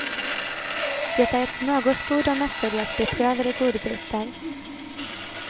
Det är ett smörgåsbord av mestadels beprövade godbitar.